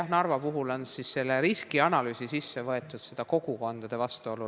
Nii et Narva puhul on riskianalüüsi rohkem sisse võetud seda kogukondade vastuolu.